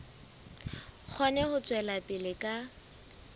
kgone ho tswela pele ka